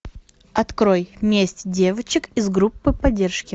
открой месть девочек из группы поддержки